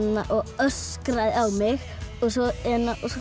öskraði á mig svo